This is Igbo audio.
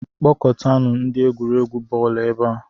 Kpọkọtanụ ndị egwuregwu bọọlụ ebe a